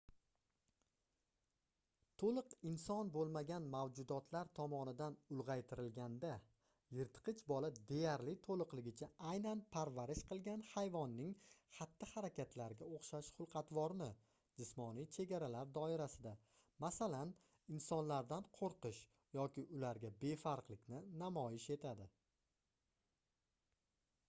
to'liq inson bo'lmagan mavjudotlar tomonidan ulg'aytirilganda yirtqich bola deyarli to'liqligicha aynan parvarish qilgan hayvonning xatti-harakatlariga o'xshash xulq-atvorni jismoniy chegaralar doirasida masalan insonlardan qo'rqish yoki ularga befarqlikni namoyish etadi